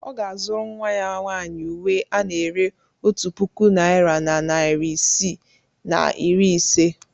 Ọ ga-azụrụ nnwa ya nwaanyị uwe ana-ere otu puku naira na narị isii na iri ise.